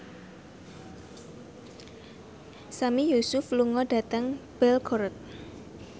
Sami Yusuf lunga dhateng Belgorod